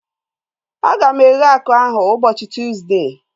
A ga m eghe akụ ahu ụbọchị Tuuzde